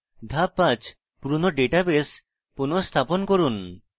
ধাপ 5: পুরানো ডাটাবেস পুনঃস্থাপন করুন